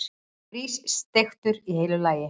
Grís, steiktur í heilu lagi!